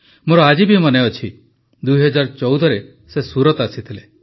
ମୋର ଆଜି ବି ମନେଅଛି ୨୦୧୪ରେ ସେ ସୁରତ ଆସିଥିଲେ